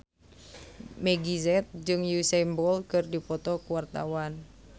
Meggie Z jeung Usain Bolt keur dipoto ku wartawan